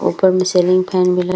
ऊपर में ceiling fan भी लग --